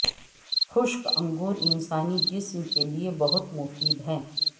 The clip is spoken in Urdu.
خشک انگور انسانی جسم کے لئے بہت مفید ہے